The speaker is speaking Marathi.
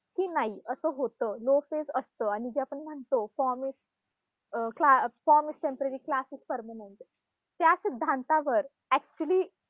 की नाही, असं होतं low phase असतं आणि जे आपण म्हणतो form is um class form is temporary class is permanent त्या सिद्धांतावर actually